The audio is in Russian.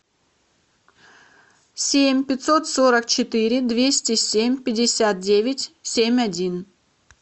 семь пятьсот сорок четыре двести семь пятьдесят девять семь один